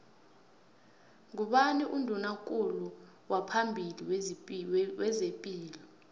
ngubani unduna kulu waphambili wezepilo